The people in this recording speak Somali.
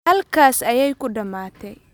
Halkaas ayay ku dhamaatay